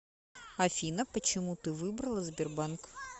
афина почему ты выбрала сбербанк